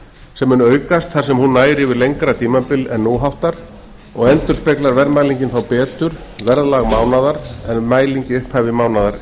sem mun aukast þar sem hún nær yfir lengra tímabil en nú háttar og endurspeglar verðmælingin þá betur verðlag mánaðar en mæling upphaf mánaðar